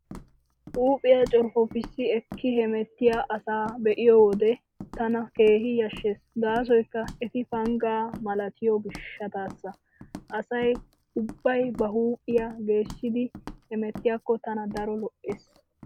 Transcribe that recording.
Huuphiyaa corppoppissi ekki hemettiyaa asaa be'iyo wode tana keehi yashshees gaasoykka eti panggaa malatiyo gishshataassa. Asay ubbay ba huuphiyaa geeshidi hemettiyaakko tana daro lo'ees.